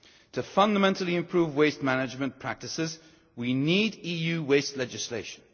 To fundamentally improve waste management practices we need EU waste legislation.